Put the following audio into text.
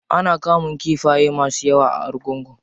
Ana kamun kifaye masu yawa a argungu.